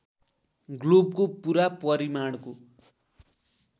ग्लोबको पूरा परिमाणको